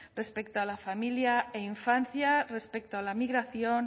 respecto a la familia e infancia respecto a la migración